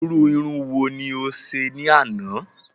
Irú Irun wo ni o ṣe ní àná?